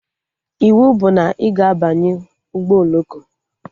Iwu bụ na ị ga-abanye ụgbọ oloko!